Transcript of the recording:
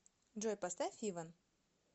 джой поставь иван